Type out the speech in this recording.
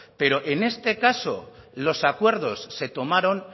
pero en este caso los acuerdos se tomaron